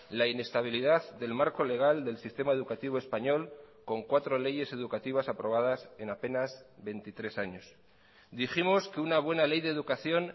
la inestabilidad del marco legal del sistema educativo español con cuatro leyes educativas aprobadas en apenas veintitrés años dijimos que una buena ley de educación